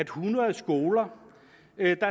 hundrede skoler